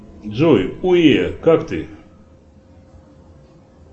джой уе как ты